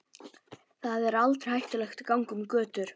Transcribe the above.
Þar er aldrei hættulegt að ganga um götur.